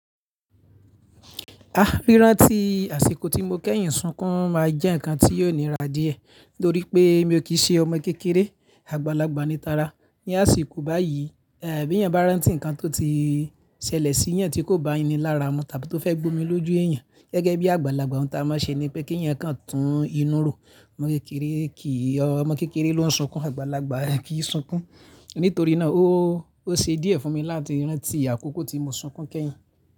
Ah rírán tí àsìkò tí mo kẹ́yìn sunkún máa jẹ́ ǹkan tí yóò níra díẹ̀ torí pé mi ò kí ṣe ọmọ kékeré, àgbàlagbà ni tara. Ní àsìkò báyìí, bí èèyàn bá rántí ǹkan tó ti ṣẹlẹ̀ sí yan tí kò bá ení lára mu tàbí tó fẹ́ gbómi lójú èèyàn gẹ́gẹ́ bí àgbàlagbà ohun tí a máa ṣe ni pé kí ǹkan tún inú ro. Ọmọ kékeré kì, ọmọ kékeré ló ń sunkún, àgbàlagbà kì í sunkún. Nítorí náà ó ṣe díẹ̀ fún mi láti rántí àkókò tí mo sunkún kẹ́yìn.